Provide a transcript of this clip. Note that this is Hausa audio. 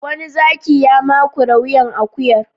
Wani zaki ya makure wuyan akuyar.